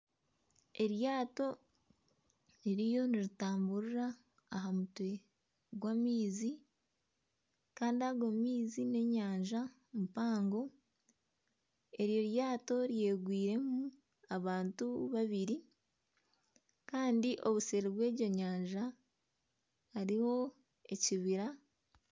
Eryaato ririyo niritamburira aha mutwe gw'amaizi kandi ago maizi ni enyanja mpango. Eryo ryaato ryegwiire mu abantu babiri kandi obuseeri bw'ego nyanja hariyo ekibira.